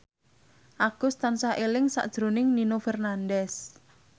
Agus tansah eling sakjroning Nino Fernandez